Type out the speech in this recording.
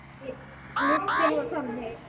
Listinn var þannig